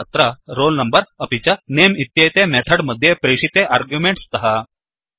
तथा अत्र roll number अपि च नमे इत्येते मेथड् मध्ये प्रेशिते आर्ग्युमेण्ट् स्तः